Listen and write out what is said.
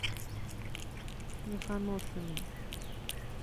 мехоношина